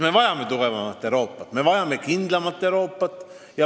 Me vajame tugevamat Euroopat, me vajame kindlamat Euroopat.